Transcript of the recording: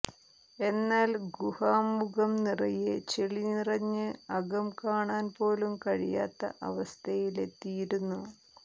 എന്നാൽ ഗുഹാമുഖം നിറയെ ചെളി നിറഞ്ഞ് അകം കാണാൻ പോലും കഴിയാത്ത അവസ്ഥയിലെത്തിയിരുന്നു